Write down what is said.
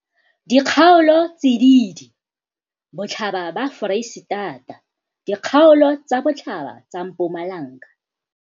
Dikgaolotsididi, Botlhaba ba Foreisetata, Dikgaolo tsa botlhaba tsa Mpumalanga,